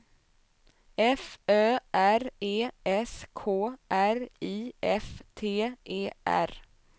F Ö R E S K R I F T E R